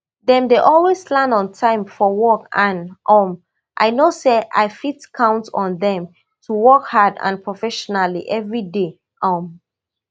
dem dey always land on time for work and um i know say i fit count on dem to work hard and professionally every day um